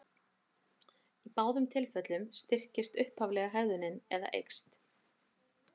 Í báðum tilfellum styrkist upphaflega hegðunin eða eykst.